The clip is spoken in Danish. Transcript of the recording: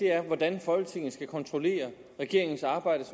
er hvordan folketinget skal kunne kontrollere regeringens arbejde